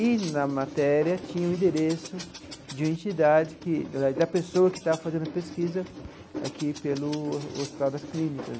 E na matéria tinha o endereço de uma entidade que, da da pessoa que estava fazendo a pesquisa aqui pelo Hospital das Clínicas.